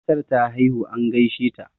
matar ta haihu an gaishe ta